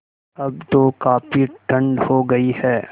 अब तो काफ़ी ठण्ड हो गयी है